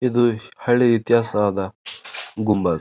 ಇದು ಹಳಿ ಇತಿಹಾಸವಾದ ಗುಂಬಜ್--